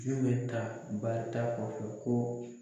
bɛ taa bada kɔ ko.